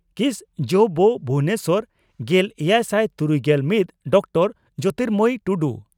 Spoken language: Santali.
ᱠᱤᱥ ᱡᱹᱵᱹ ᱵᱷᱩᱵᱚᱱᱮᱥᱚᱨ᱾ᱜᱮᱞᱮᱭᱟᱭᱥᱟᱭ ᱛᱩᱨᱩᱭᱜᱮᱞ ᱢᱤᱛ ᱰᱚᱠᱴᱚᱨᱹ ᱡᱚᱛᱤᱨᱢᱚᱭᱤ ᱴᱩᱰᱩ